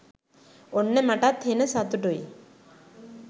ඔන්න මටත් හෙන සතුටුයි